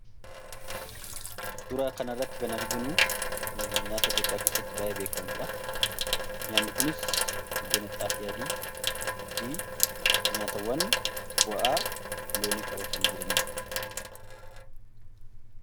Suuraa kana irratti kan arginu nyaata Itiyoophiyaa keessatti baay'ee beekamuudha. Nyaanni kunis biddeena xaafii adii fi nyaatawwan bu'aa loonii qabatanii jiraniidha.